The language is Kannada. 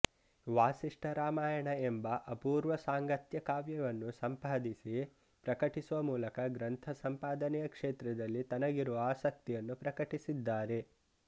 ವಾಸಿಷ್ಠ ರಾಮಾಯಣ ಎಂಬ ಅಪೂರ್ವ ಸಾಂಗತ್ಯ ಕಾವ್ಯವನ್ನು ಸಂಪಾದಿಸಿ ಪ್ರಕಟಿಸುವ ಮೂಲಕ ಗ್ರಂಥ ಸಂಪಾದನೆಯ ಕ್ಷೇತ್ರದಲ್ಲಿ ತನಗಿರುವ ಆಸಕ್ತಿಯನ್ನು ಪ್ರಕಟಿಸಿದ್ದಾರೆ